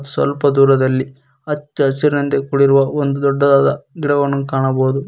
ಸ್ವಲ್ಪ ದೂರದಲ್ಲಿ ಹಚ್ಚ ಹಸಿರಿನಂತೆ ಕೂಡಿರುವ ಒಂದು ದೊಡ್ಡದಾದ ಗಿಡವನ್ನು ಕಾಣಬಹುದು.